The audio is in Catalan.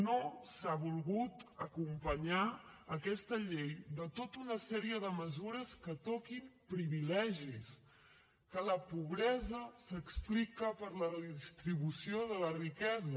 no s’ha volgut acompanyar aquesta llei de tota una sèrie de mesures que toquin privilegis que la pobresa s’explica per la redistribució de la riquesa